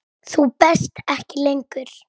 Þú berst ekki lengur.